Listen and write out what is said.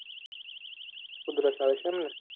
ઉધરસ આવે છે એમને